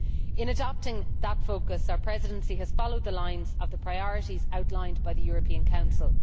In adopting that focus, our Presidency has followed the lines of the priorities outlined by the European Council.